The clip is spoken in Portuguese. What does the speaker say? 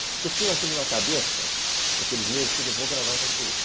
Porque eu fiquei com aquilo na cabeça, naqueles meses, que eu vou gravar essa entrevista.